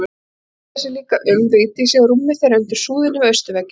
Hann hugsaði líka um Vigdísi og rúmið þeirra undir súðinni við austurvegginn.